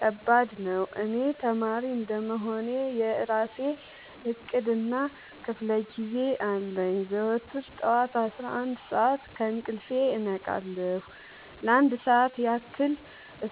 ከባድ ነው። እኔ ተማሪ እንደመሆኔ የእራሴ እቅድ እና ክፋለጊዜ አለኝ። ዘወትር ጠዋት አስራአንድ ሰዓት ከእንቅልፌ እነቃለሁ ለአንድ ሰዓት ያክል